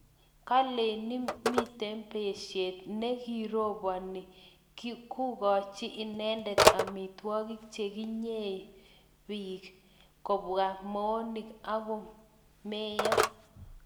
kaleni mito besie ne kiroboni kukochi inende amitwogik che kinyei beek, kobwaa moonik akumeyo